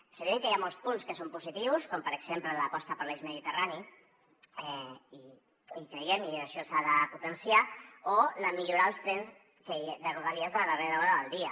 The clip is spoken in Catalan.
és evident que hi ha molts punts que són positius com per exemple l’aposta per l’eix mediterrani i hi creiem i això s’ha de potenciar o millorar els trens de rodalies de darrera hora del dia